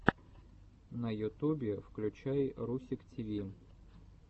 на ютубе включай русик тиви